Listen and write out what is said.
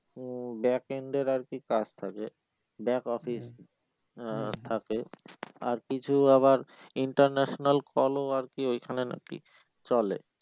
মমম back end এর আর কি কাজ থাকে back office আহ থাকে আর পিছেও আবার international call ও আর কি ওইখানে নাকি চলে